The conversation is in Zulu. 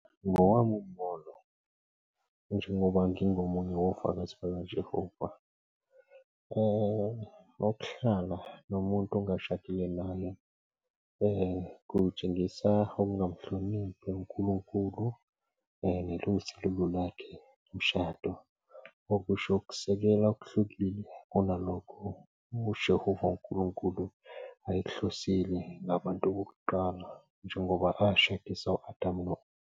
Ngowami umbono njengoba ngingomunye wofakazi bakaJehova ukuhlala nomuntu ongashadile naye, kutshengisa ukungamuhloniphi unkulunkulu lakhe umshado, okusho ukusekela okuhlukile kunalokho ujehova unkulunkulu ayekuhlosile nabantu bokuqala njengoba ashadisa u-Adam no-eva.